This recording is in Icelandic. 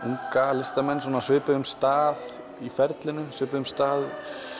unga listamenn á svipuðum stað í ferlinu svipuðum stað